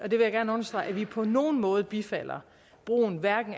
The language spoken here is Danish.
vil jeg gerne understrege fordi vi på nogen måde bifalder brugen af hverken